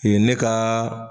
Ee ne kaaa.